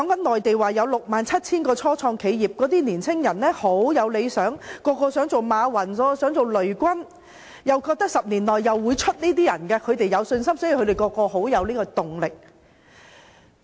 內地有 67,000 家初創企業，內地的年輕人十分有理想，人人想當馬雲和雷軍，而且有信心10年後能出人頭地，所以他們都充滿動力。